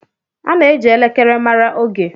A na-eji elekere mara oge.